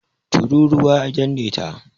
Turūruwa ya danne ta.